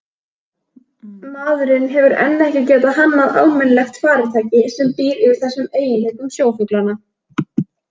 Maðurinn hefur enn ekki getað hannað almennilegt farartæki sem býr yfir þessum eiginleikum sjófuglanna.